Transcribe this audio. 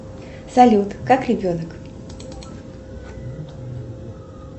салют как ребенок